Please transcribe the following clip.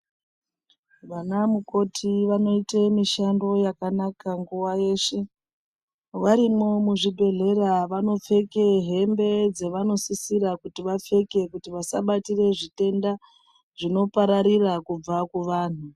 Vanamukoti vanoite mushando yakanaka nguwa yeshe varimo muzvibhedhleya vanopfeke hembe dzavanosisira kuti vasabate zvitenda zvinopararir kubva kuvantu.